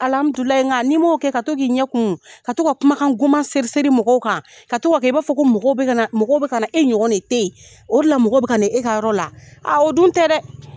Alamidulayi nga n'i m'o kɛ, ka to k'i ɲɛ kumu, ka to ka kumakan goman seri seri mɔgɔw kan, ka to k'a kɛ i b'a fɔ ko mɔgɔw bɛ ka na mɔgɔ bɛ ka na, e ɲɔgɔn de tɛ yen. O de la mɔgɔw bɛ ka na e ka yɔrɔ la. o dun tɛ dɛ.